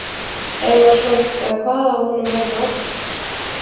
Einarsson eða hvað af honum hefði orðið.